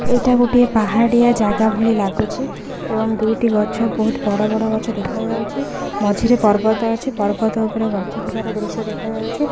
ଏଇଟା ଗୋଟିଏ ପାହାଡ଼ିଆ ଜାଗା ଭଳି ଲାଗୁଚି ଏବଂ ଦୁଇଟି ଗଛ ବୋହୁତ୍ ବଡ଼ ବଡ଼ ଗଛ ଦେଖାଯାଉଛି ମଝିରେ ପର୍ବତ ଅଛି ପର୍ବତ ଉପରେ ଗଛ ଥିବାର ଦୃଶ୍ୟ ଦେଖା ଯାଉଛି।